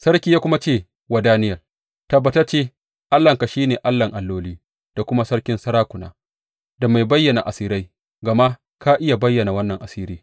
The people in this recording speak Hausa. Sarki ya kuma ce wa Daniyel, Tabbatacce Allahnka shi ne Allahn alloli da kuma Sarkin sarakuna da mai bayyana asirai, gama ka iya bayyana wannan asiri.